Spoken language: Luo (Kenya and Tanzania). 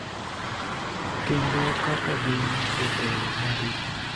kendo kaka gin jotelo ma rito